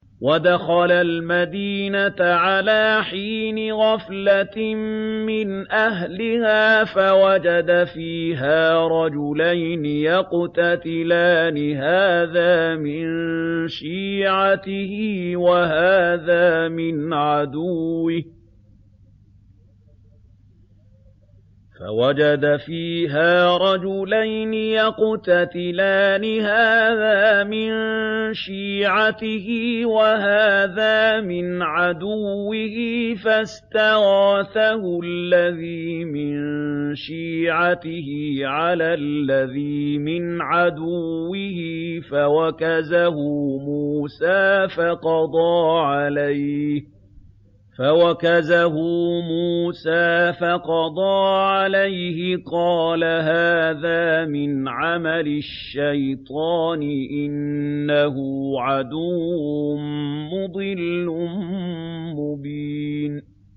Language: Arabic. وَدَخَلَ الْمَدِينَةَ عَلَىٰ حِينِ غَفْلَةٍ مِّنْ أَهْلِهَا فَوَجَدَ فِيهَا رَجُلَيْنِ يَقْتَتِلَانِ هَٰذَا مِن شِيعَتِهِ وَهَٰذَا مِنْ عَدُوِّهِ ۖ فَاسْتَغَاثَهُ الَّذِي مِن شِيعَتِهِ عَلَى الَّذِي مِنْ عَدُوِّهِ فَوَكَزَهُ مُوسَىٰ فَقَضَىٰ عَلَيْهِ ۖ قَالَ هَٰذَا مِنْ عَمَلِ الشَّيْطَانِ ۖ إِنَّهُ عَدُوٌّ مُّضِلٌّ مُّبِينٌ